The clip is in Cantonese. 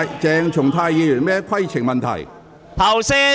鄭松泰議員，你有甚麼規程問題？